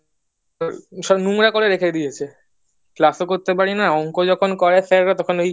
সব নোংরা করে রেখে দিয়েছে ক্লাস ও করতে পারি না অংক যখন করে করায় স্যাররা তখন এই